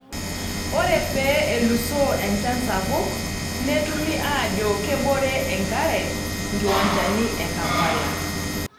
Ore pee elusoo enchan sapuk, netumi ajo kebore enkare nkiwanchani e Kampala.